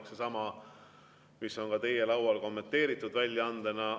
See on seesama, mis on ka teie laual kommenteeritud väljaandena.